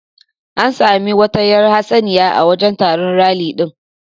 An sami wata yar hatsaniya a wajan taron ralli din